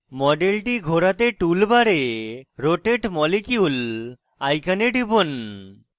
মডেলটি ঘোরাতে tool bar rotate molecule icon টিপুন